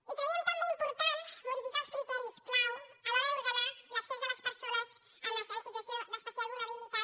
i creiem també important modificar els criteris clau a l’hora d’ordenar l’accés de les persones en situació d’especial vulnerabilitat